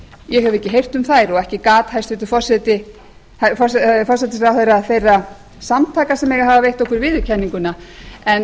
ég hef ekki heyrt um þær og ekki gat hæstvirtur forsætisráðherra þeirra samtaka sem eiga að hafa veitt okkur viðurkenninguna en